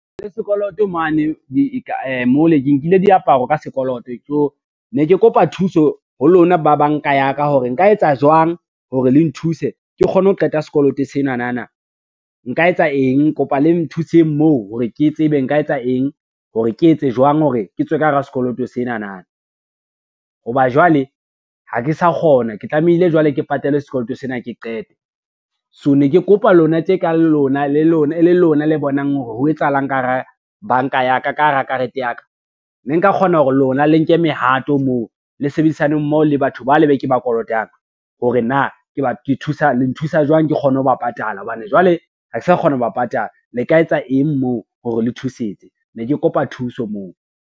Le sekoloto mo le ke nkile diaparo ka skoloto, so ne ke kopa thuso ho lona ba banka ya ka, hore nka etsa jwang hore le nthuse ke kgone ho qeta sekoloto senanana, nka etsa eng kopa le nthuseng moo hore ke tsebe nka etsa eng hore ke etse jwang hore ke tswe ka hara sekoloto senana, ho ba jwale ha ke sa kgona ke tlamehile jwale ke patale sekoloto sena ke qete. So ne ke kopa lona tje ka lona, e lona le bonang hore ho etsahalang ka hara banka ya ka, ka hara karete ya ka, ne nka kgona hore lona le nke mehato moo le sebedisane mmoho le batho ba le be ke ba kolotang, hore na le nthusa jwang ke kgone ho ba patala hobane jwale, ha ke sa kgona ho ba patala le ka etsa eng moo hore le thusetse, ne ke kopa thuso moo.